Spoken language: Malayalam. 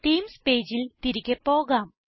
തീംസ് പേജിൽ തിരികെ പോകാം